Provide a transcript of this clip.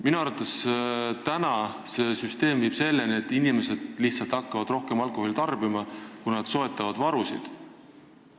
Minu arvates viib praegune süsteem selleni, et inimesed hakkavad lihtsalt rohkem alkoholi tarbima, sest nad soetavad varusid.